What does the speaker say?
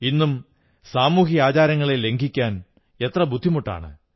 ഇന്നും സാമൂഹിക ആചാരങ്ങളെ ലംഘിക്കാൻ എത്ര ബുദ്ധിമുട്ടാണ്